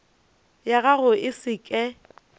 ya gago e se ke